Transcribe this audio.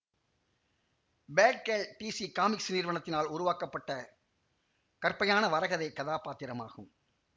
Batgirl DC comics நிறுவத்தினால் உருவாக்கப்பட்ட கற்பையான வரைகதை கதாப்பாத்திரமாகும்